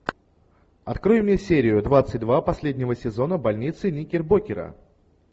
открой мне серию двадцать два последнего сезона больницы никербокера